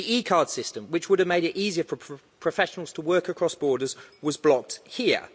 The e card system, which would have made it easier for professionals to work across borders, was blocked here.